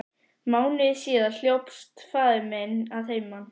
Mánuði síðar hljópst faðir minn að heiman.